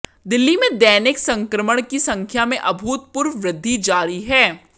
दिल्ली में दैनिक संक्रमण की संख्या में अभूतपूर्व वृद्धि जारी है